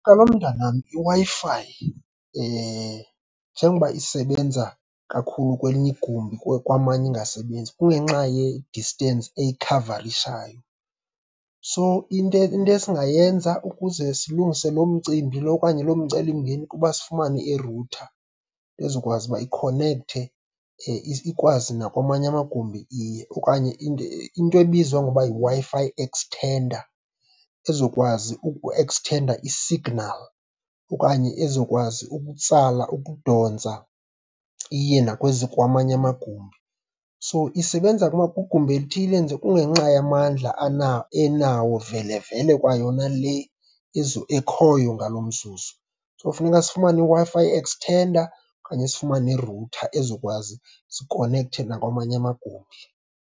Kaloku mntanam, iWi-Fi njengoba isebenza kakhulu kwelinye igumbi kwamanye ingasebenzi kungenxa ye-distance eyikhavarishayo. So, into, into esingayenza ukuze silungise loo mcimbi lowo okanye loo mcelimngeni kuba sifumane irutha ezokwazi uba ikhonekthe, ikwazi nakwamanye amagumbi iye. Okanye into ebizwa ngoba yiWi-Fi extender, ezokwazi ukueksthenda isignali okanye ezokwazi ukutsala, ukudontsa, iye nakwezi kwamanye amagumbi. So, isebenza kugumbi elithile nje kungenxa yamandla enawo vele vele kwayona le ekhoyo ngalo mzuzu. So, funeka sifumane iWi-Fi extender okanye sifumane irutha ezokwazi sikonekthe nakwamanye amagumbi.